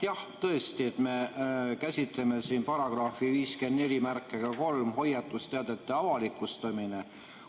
Jah, tõesti, me käsitleme siin § 543 "Hoiatusteadete avalikustamine".